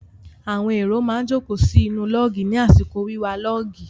Àwọn èrò má ń jókòó sí inú lọ́ọ̀gì ní àsìkò wíwa lọ́ọ̀gì.